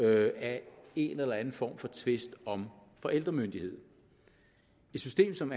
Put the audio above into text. af en eller anden form for tvist om forældremyndigheden et system som